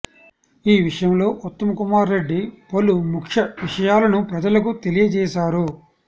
ఈ విషయం లో ఉత్తమ్ కుమార్ రెడ్డి పలు ముఖ్య విషయాలను ప్రజలకు తెలియచేసారు